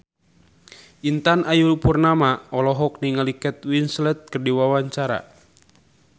Intan Ayu Purnama olohok ningali Kate Winslet keur diwawancara